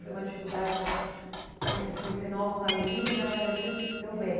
Foi uma dificuldade para conhe conhecer novos amigos né, mas daí você se deu bem?